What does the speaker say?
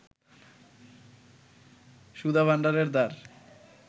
সুধাভাণ্ডারের দ্বার